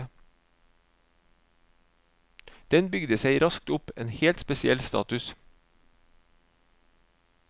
Den bygde seg raskt opp en helt spesiell status.